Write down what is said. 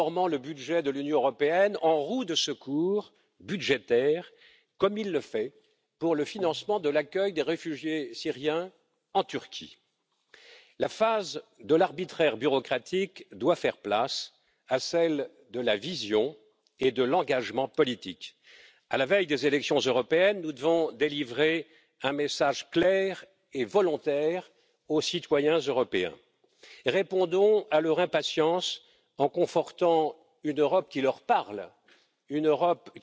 Autrement dit, le budget de l'Union européenne augmenterait sans que, pour autant, la dépense publique en Europe augmente. L'Europe est en crise, l'Europe est en danger. Nous avons été élus pour la remettre d'aplomb et redonner confiance à tous